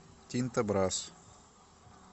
тинто брасс